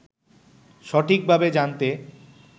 সঠিকভাবে জানতে